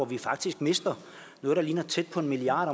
vi faktisk mister noget der ligner tæt på en milliard